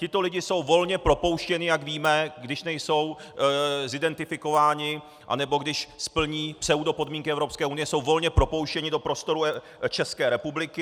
Tito lidé jsou volně propouštěni, jak víme, když nejsou zidentifikováni, anebo když splní pseudopodmínky Evropské unie, jsou volně propouštěni do prostoru České republiky.